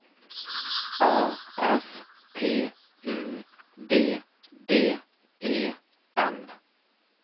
A S P U D D E N